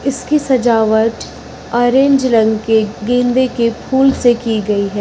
इसकी सजावट अरेंज रंग के गेंदे के फूल से की गई है।